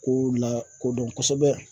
Ko lakodɔn kosɛbɛ